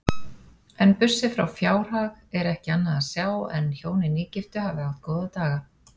En burtséð frá fjárhag er ekki annað sjá en hjónin nýgiftu hafi átt góða daga.